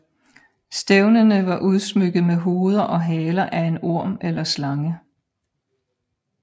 Stævnene var udsmykket med hoveder og haler af en orm eller slange